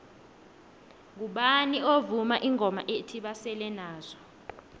ngubani ovuma ingoma ethi basele nazo